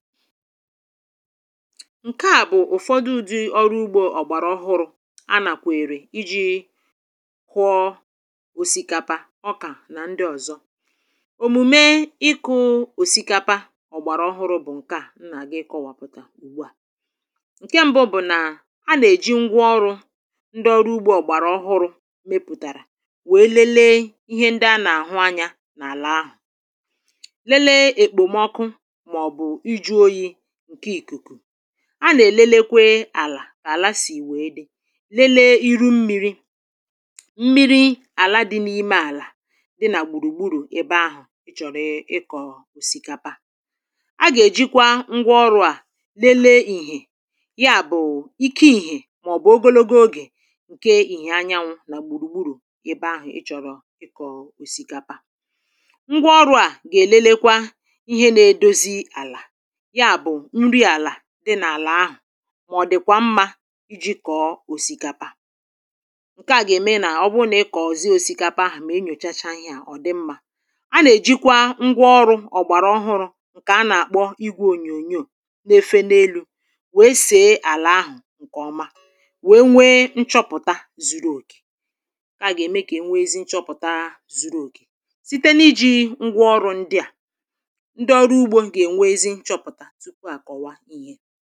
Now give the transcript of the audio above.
ǹkè a bụ̀ ụ̀fọdụ di ọrụ ugbȯ ọ̀gbàrà ọhụrụ̇ a nàkwè èrè iji̇ kụọ òsìkapa ọkà na ndị ọ̀zọ òmùme iku̇ òsikapa ọ̀gbàrà ọhụrụ bụ̀ ǹkè a nà-àgị kọwàpụ̀ta ùgbùa ǹkè mbu bụ̀ nà a nà-èji ngwa ọrụ̇ ndị ọrụ ugbȯ ọ̀gbàrà ọhụrụ̇ mepùtàrà wèe lelee ihe ndị a nà-àhụ anyȧ n’àlà ahụ̀ a nà-èlelekwe àlà kà àla sì wèe dị lelee iru mmiri mmiri àla dị n’ime àlà dị nà gbùrùgburù ebe ahụ̀ ị chọ̀rọ̀ ịkọ̀ òsìkapa a gà-èjikwa ngwa ọrụ̇ à lelee ìhè ya bụ̀ ike ìhè màọ̀bụ̀ ogologo ogè ǹke ìhè anyanwụ nà gbùrùgburù ebe ahụ̀ ị chọ̀rọ̀ ịkọ̀ òsìkapa ngwa ọrụ̇ à gà-èlelekwa ihe na-edozi àlà di n'àlà ahụ̀ mọ̀ bụ̀ ọdị̀kwa mmȧ iji̇ kọ̀ọ òsìkapa à ǹke à gà-ème nà ọ bụ nà ị kọ̀ọ̀zi òsìkapa ahụ̀ mèe nyòchacha ihe à ọ̀ di mmȧ a nà-èjikwa ngwa ọrụ̇ ọ̀gbàràọhụrụ̇ ǹkè a nà-àkpọ igwȧ ònyònyo n’efe n’elu̇ wèe sèe àlà ahụ̀ ǹkè ọma wèe nwee nchọpụ̀ta zuru òkè ǹkè à gà-ème kà ènweezi nchọpụ̀ta zuru òkè site n’ iji̇ ngwa ọrụ ndị à ndị ọrụ ugbȯ ǹkè ènweezi nchọpụ̀ta tupu a kọwa ihe